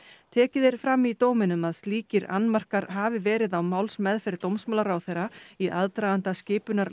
tekið er fram í dóminum að að slíkir annmarkar hafi verið á málsmeðferð dómsmálaráðherra í aðdraganda skipunar